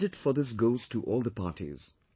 The credit for this goes to all the parties